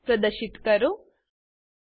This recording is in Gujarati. સ્ટીરીઓ કેમિકલ બોન્ડ પ્રદશિત કરો